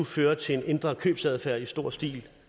føre til en ændret købsadfærd i stor stil